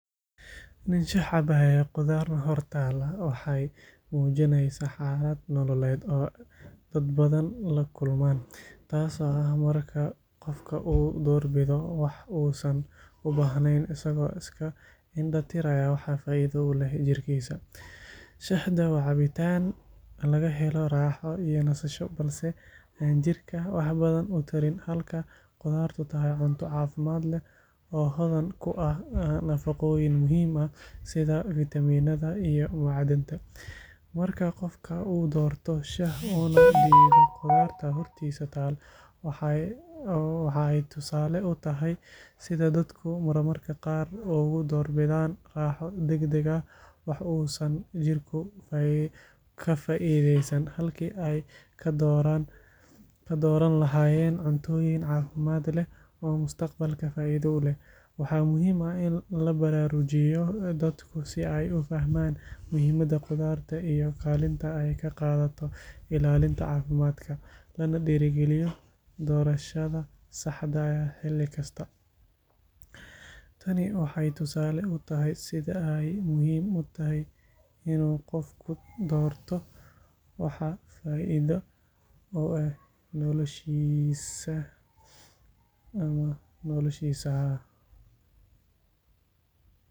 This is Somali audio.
Nin shah cabaya qudaarna hor taal waxay muujinaysaa xaalad nololeed oo dad badan la kulmaan, taasoo ah marka qofka uu doorbido wax uusan u baahnayn isagoo iska indhatiraya waxa faa’iido u leh jirkiisa. Shahda waa cabitaan laga helo raaxo iyo nasasho balse aan jirka wax badan u tarin halka qudaartu tahay cunto caafimaad leh oo hodan ku ah nafaqooyin muhiim ah sida fiitamiinnada iyo macdanta. Marka qofka uu doorto shah una diido qudaarta hortiisa taal, waxa ay tusaale u tahay sida dadku marmarka qaar ugu doorbidaan raaxo degdeg ah wax uusan jirku ka faa’iidaysan halkii ay ka dooran lahaayeen cuntooyin caafimaad leh oo mustaqbalka faa’iido u leh. Waxaa muhiim ah in la baraarujiyo dadku si ay u fahmaan muhiimada qudaarta iyo kaalinta ay ka qaadato ilaalinta caafimaadka, lana dhiirrigeliyo doorashada saxda ah xilli kasta. Tani waxay tusaale u tahay sida ay muhiim u tahay in qofku doorto waxa faa’iido u leh noloshiisa.